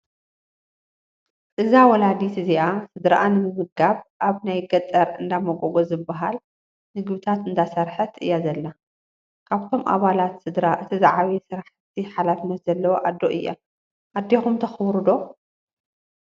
እዛ ወላዲት እዚኣ ስድራኣ ንምምጋብ ኣብ ናይ ገጠር እንዳሞጎጎ ዝበሃል ምግብታት እንዳሰረሐት እያ ዘላ። ካብቶም ኣባላት ስድራ እቲ ዝዓበየ ስራሕቲ ሓላፍነት ዘለዋ ኣዶ እያ። ኣዴኩም ተክብሩ ዶ?